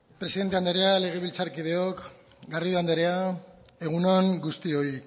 presidente andrea legebiltzarkideok garrido andrea egun on guztioi